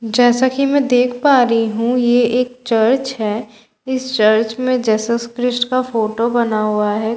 जैसा की मैं देख पा रही हूँ ये एक चर्च है इस चर्च में जेसस क्रिस्ट का फोटो बना हुआ है कुछ आदमी--